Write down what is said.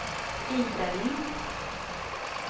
Ida Lindh